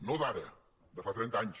no d’ara de fa trenta anys